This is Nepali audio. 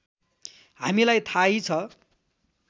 हामीलाई थाहै छ